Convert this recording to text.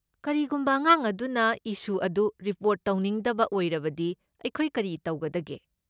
ꯀꯔꯤꯒꯨꯝꯕ ꯑꯉꯥꯡ ꯑꯗꯨꯅ ꯏꯁꯨ ꯑꯗꯨ ꯔꯤꯄꯣꯔꯠ ꯇꯧꯅꯤꯡꯗꯕ ꯑꯣꯏꯔꯗꯤ ꯑꯩꯈꯣꯏ ꯀꯔꯤ ꯇꯧꯒꯗꯒꯦ?